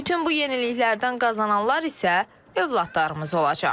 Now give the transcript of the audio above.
Bütün bu yeniliklərdən qazananlar isə övladlarımız olacaq.